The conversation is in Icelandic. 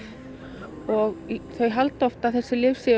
og þau halda oft að þessi lyf séu